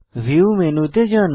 view মেনুতে যান